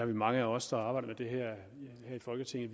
mange af os der arbejder med det her i folketinget